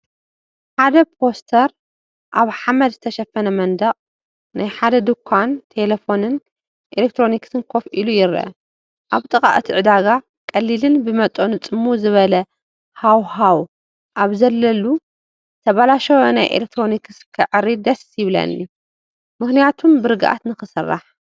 ሓደ ፖስተር ኣብ ሓመድ ዝተሸፈነ መንደቕ ናይ ሓደ ድኳን ቴሌፎንን ኤሌክትሮኒክስን ኮፍ ኢሉ ይርአ። ኣብ ጥቓ እቲ ዕዳጋ፡ ቀሊልን ብመጠኑ ጽምው ዝበለ ሃዋህው ኣብ ዘለሉ ዝተበላሸወ ናይ ኤሌክትሮክስ ከዐርይ ደስ ይብለኒ፣ ም/ቱም ብርግኣት ንኽስራሕ፡፡